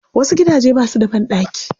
Wasu gidaje ba su da banɗaki.